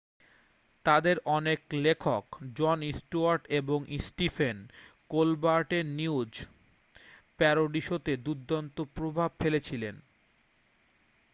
তাদের অনেক লেখক জন স্টুয়ার্ট এবং স্টিফেন কোলবার্টের নিউজ প্যারোডি শোতে দুর্দান্ত প্রভাব ফেলেছিলেন